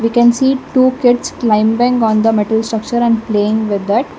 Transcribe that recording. we can see two kids climbing on the metal structure and playing with it.